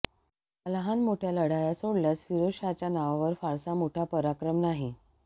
ह्या लहानमोठ्या लढाया सोडल्यास फिरोज शाहच्या नावावर फारसा मोठा पराक्रम नाही